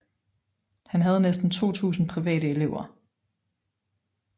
Han havde næsten 2000 private elever